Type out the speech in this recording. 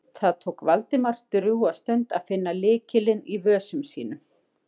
Það tók Valdimar drjúga stund að finna lykilinn í vösum sínum.